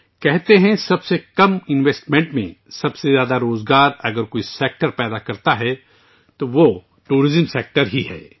کہا جاتا ہے کہ سب سے کم سرمایہ کاری میں اگر کسی شعبے میں سب سے زیادہ روزگار پیدا ہوتا ہے تو وہ سیاحت کا شعبہ ہے